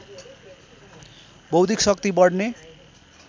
बौद्धिक शक्ति बढ्ने